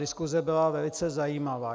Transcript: Diskuse byla velice zajímavá.